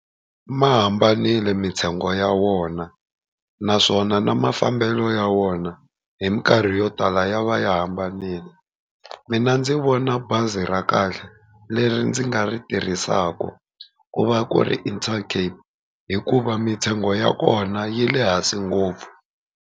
Ma hambanile mintsengo ya wona, naswona na mafambelo ya wona hi minkarhi yo tala ya va ya hambanile. Mina ndzi vona bazi ra kahle leri ndzi nga ri tirhisaka ku va ku ri Intercape hikuva mintsengo ya kona yi le hansi ngopfu.